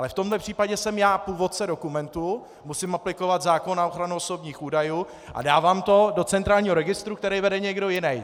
Ale v tomhle případě jsem já původce dokumentu, musím aplikovat zákon na ochranu osobních údajů a dávám to do centrálního registru, který vede někdo jiný.